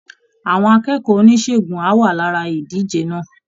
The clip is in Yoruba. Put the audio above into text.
Àwọn akẹ́kọ̀ọ́ oníṣègùn á wà lára ìdíje náà